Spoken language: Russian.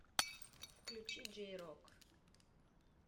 включи джей рок